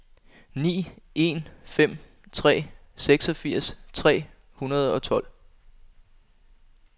ni en fem tre seksogfirs tre hundrede og tolv